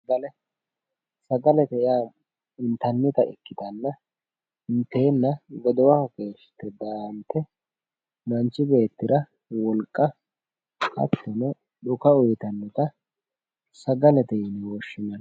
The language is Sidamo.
Sagale sagalete yaa intannita ikkitanna inteenna godowaho keeshshite daahante manchi beettira wolqa hattono dhuka uyitannota sagalete yine woshshinanni